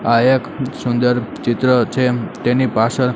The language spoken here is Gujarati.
આ એક સુંદર ચિત્ર છે તેની પાછળ.